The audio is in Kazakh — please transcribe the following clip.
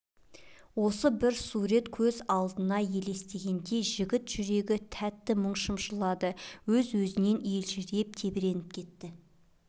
осы бір сурет көз алдына елестегенде жігіт жүрегін тәтті мұң шымшылады өз-өзінен елжіреп тебіреніп кетті